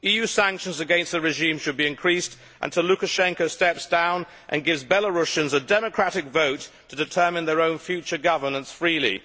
EU sanctions against the regime should be increased until Lukashenko steps down and gives Belarusians a democratic vote to determine their own future governance freely.